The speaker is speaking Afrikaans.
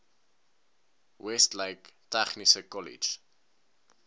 westlake tegniese kollege